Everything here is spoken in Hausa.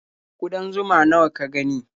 Ƙudan zuma nawa ka gani?